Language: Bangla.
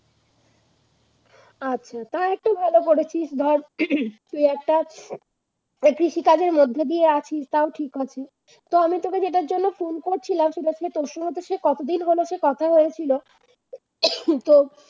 তা একটু ভালো করেছিস ধর তুই একটা কৃষিকাজের মধ্য দিয়ে আছিস তাও ঠিক আছে তো আমি তোকে যেটার জন্য Phone করেছিলাম তোর সঙ্গে কতদিন হলো সে কথা হয়েছিল